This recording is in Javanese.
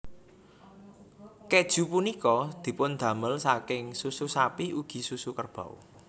Keju punika dipundamel saking susu sapi ugi susu kerbau